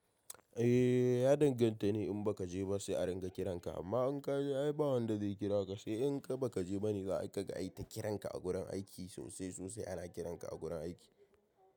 Eh, ya danganta da in ka je ba sai a ringa kiran ka, amma in ka je ai bah wanda zai kira ka sai in ka baka je bani za a kai ka aita kiran ka a gurin aiki sosai sosai ana kiran ka a gurin aiki.